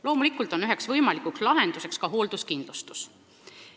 Loomulikult on üheks võimalikuks lahenduseks ka hoolduskindlustus.